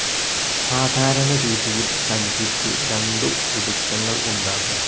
സാധാരണ രീതിയിൽ സഞ്ചിക്ക് രണ്ടു പിടുത്തങ്ങൾ ഉണ്ടാകും.